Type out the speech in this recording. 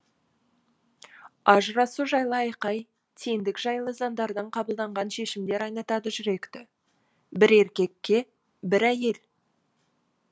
ажырасу жайлы айқай теңдік жайлы заңдардан қабылданған шешімдер айнытады жүректі бір еркекке бір әйел